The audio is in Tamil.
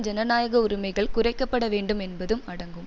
ஜனநாயக உரிமைகள் குறைக்க பட வேண்டும் என்பதும் அடங்கும்